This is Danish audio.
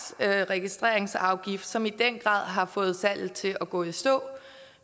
registreringsafgift som i den grad har fået salget til at gå i stå